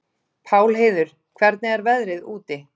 Pálheiður, hvernig er veðrið úti?